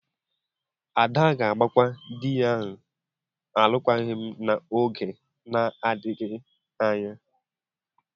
Ada ga-agbakwa di ya alụkwaghịm n'oge na-adịghị anya.